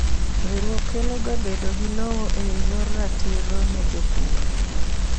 Riwruok keloga bedo gi lowo eyor ratiro ne jopur.